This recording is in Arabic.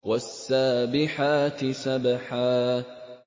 وَالسَّابِحَاتِ سَبْحًا